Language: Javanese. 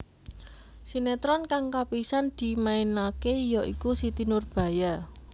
Sinétron kang kapisan dimainaké ya iku Siti Nurbaya